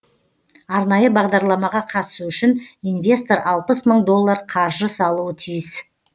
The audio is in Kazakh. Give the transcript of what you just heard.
арнайы бағдарламаға қатысу үшін инвестор алпыс мың доллар қаржы салуы тиіс